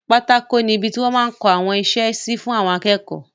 Pátákó ni ibi ti wọ́n máa n kọ àwọn isẹ́ sí fún àwọn akẹ́kọ̀ọ́